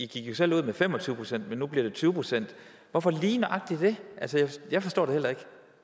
gik jo selv ud med fem og tyve procent men nu bliver det tyve procent hvorfor lige nøjagtig det jeg forstår det heller